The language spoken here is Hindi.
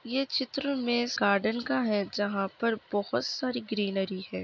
ये चित्र मे गार्डेन का है जहा पर बहोत सारी ग्रीनरी है।